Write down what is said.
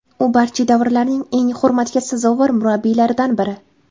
U barcha davrlarning eng hurmatga sazovor murabbiylaridan biri.